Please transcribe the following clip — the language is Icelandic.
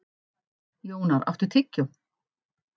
Jónar, áttu tyggjó?